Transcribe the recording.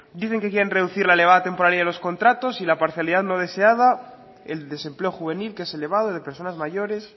dicen que quiere reducir la elevada temporalidad de los contratos y la parcialidad no deseada el desempleo juvenil que es elevado de personas mayores